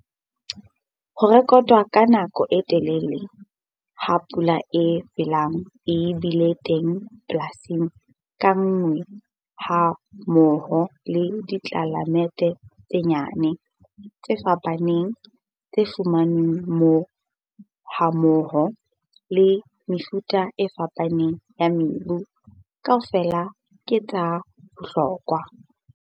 Ho rekotwa ha nako e telele ha pula e felang e bile teng polasing ka nngwe hammoho le ditlelaemete tse nyane, tse fapaneng, tse fumanweng moo hammoho le mefuta e fapaneng ya mebu, kaofela ke tsa bohlokwa.